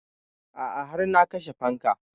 A'a har na kashe fanka